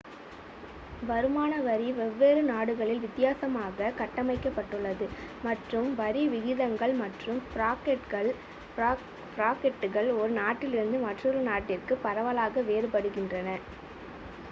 வருமான வரி வெவ்வேறு நாடுகளில் வித்தியாசமாக கட்டமைக்கப்பட்டுள்ளது மற்றும் வரி விகிதங்கள் மற்றும் பிராக்கெட்டுகள் ஒரு நாட்டிலிருந்து மற்றொரு நாட்டிற்கு பரவலாக வேறுபடுகின்றன